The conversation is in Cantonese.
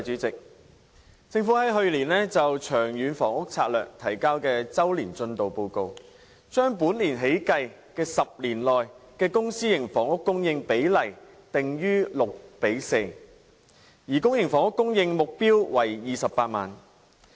政府於去年就《長遠房屋策略》提交的周年進度報告，把本年起計的10年期內公、私營房屋供應比例定於六比四，而公營房屋供應目標為28萬個。